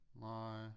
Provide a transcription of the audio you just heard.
Nej